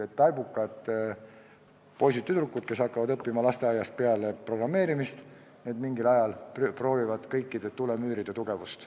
Taibukad poisid-tüdrukud, kes hakkavad lasteaiast peale programmeerimist õppima, proovivad mingil ajal kõikide tulemüüride tugevust.